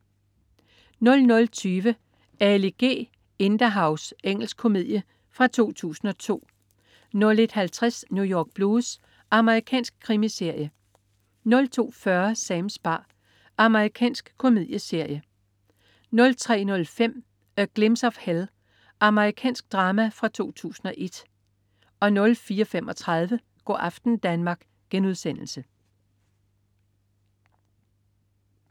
00.20 Ali G Indahouse. Engelsk komedie fra 2002 01.50 New York Blues. Amerikansk krimiserie 02.40 Sams bar. Amerikansk komedieserie 03.05 A Glimpse of Hell. Amerikansk drama fra 2001 04.35 Go' aften Danmark*